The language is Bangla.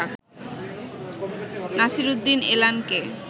নাসিরুদ্দিন এলানকে